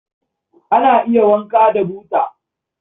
Ana iya wanka da buta.